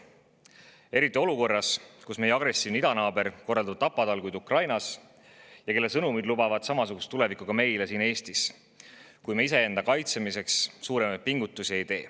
Eriti olukorras, kus meie agressiivne idanaaber korraldab tapatalguid Ukrainas ja tema sõnumid lubavad samasugust tulevikku ka meile siin Eestis, kui me iseenda kaitsmiseks suuremaid pingutusi ei tee.